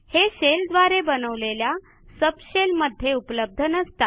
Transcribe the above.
हे शेल द्वारे बनवलेल्या सबशेल मध्ये उपलब्ध नसतात